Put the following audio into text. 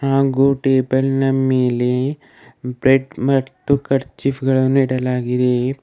ಹಾಗೂ ಟೇಬಲ್ ನ ಮೇಲೆ ಬ್ರೆಡ್ ಮತ್ತು ಕರ್ಚೀಫ್ ಗಳನ್ನು ಇಡಲಾಗಿದೆ.